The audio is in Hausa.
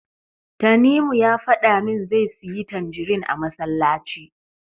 Tanimu ya faɗa min zai siyi tanjirin a masallaci.